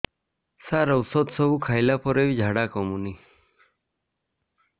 ସାର ଔଷଧ ସବୁ ଖାଇଲା ପରେ ବି ଝାଡା କମୁନି